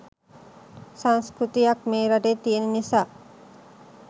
සංස්කෘතියක් මේ රටේ තියන නිසා.